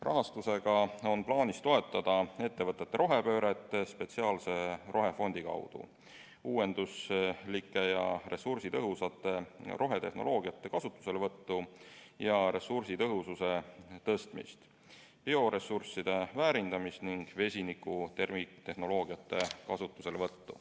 Rahastusega on plaanis toetada ettevõtete rohepööret spetsiaalse rohefondi kaudu, uuenduslike ja ressursitõhusate rohetehnoloogiate kasutuselevõttu ja ressursitõhususe tõstmist, bioressursside väärindamist ning vesinikutehnoloogiate kasutuselevõttu.